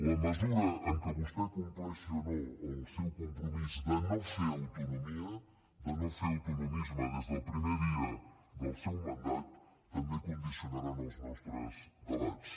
la mesura en què vostè compleixi o no el seu compromís de no fer autonomia de no fer autonomisme des del primer dia del seu mandat també condicionaran els nostres debats